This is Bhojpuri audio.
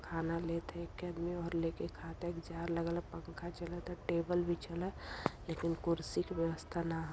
खाना लेत ह एक आदमी लेके खात ह एक जार लगल ह पंखा चलत ह टेबुल बीछल ह लेकिन कुर्सी की व्यवस्था ना ह।